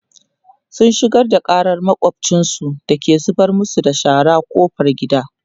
sun shigar da ƙarar makwafcinsu da ke zubar masu da shara ƙofar gida